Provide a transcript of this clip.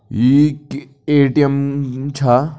ये एक A. T. M. छा।